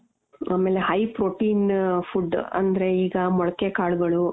ಆಮೇಲೆ high protein food ಅಂದ್ರೆ ಈಗ ಮೊಳಕೆ ಕಾಳುಗಳು .